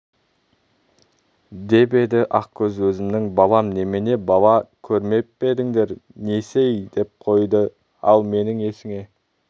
деп еді ақкөз өзімнің балам немене бала көрмеп пе едіңдер несі-ей деп қойды ал мені есіңе